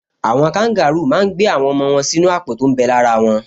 Àwọn kangarúù máa n gbé àwọn ọmọ wọn sínú àpò tó m bẹ ní ara wọn